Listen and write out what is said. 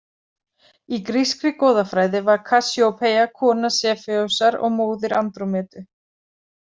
Í grískri goðafræði var Kassíópeia kona Sefeusar og móðir Andrómedu.